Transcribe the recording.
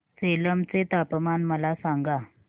सेलम चे तापमान मला सांगा